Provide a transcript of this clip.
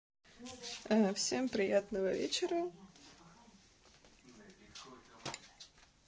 ээ всем приятного вечера